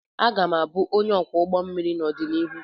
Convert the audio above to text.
Aga m abụ ónyé ọkwọ ụgbọ mmiri n'odonihu.